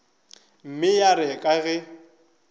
mme ya re ka ge